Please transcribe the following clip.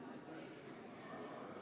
Austatud kolleegid!